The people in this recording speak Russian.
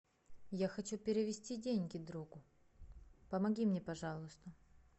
я хочу перевести деньги другу помоги мне пожалуйста